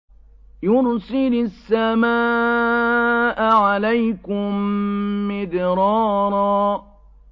يُرْسِلِ السَّمَاءَ عَلَيْكُم مِّدْرَارًا